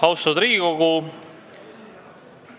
Austatud Riigikogu!